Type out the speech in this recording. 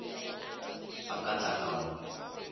a ka tla ka mo